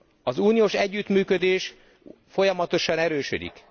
Az uniós együttműködés folyamatosan erősödik.